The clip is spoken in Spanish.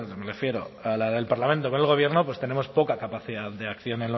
me refiero a la del parlamento con el gobierno pues tenemos poca capacidad de acción